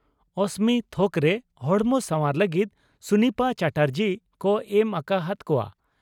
ᱚᱥᱢᱤ ᱛᱷᱚᱠᱨᱮ ᱦᱚᱲᱢᱚ ᱥᱟᱣᱟᱨ ᱞᱟᱹᱜᱤᱫ ᱥᱩᱱᱤᱯᱟ ᱪᱟᱴᱟᱨᱡᱤ ᱠᱚ ᱮᱢ ᱟᱠᱟ ᱦᱟᱫ ᱠᱚᱣᱟ ᱾